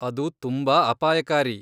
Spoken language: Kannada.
ಅದು ತುಂಬಾ ಅಪಾಯಕಾರಿ.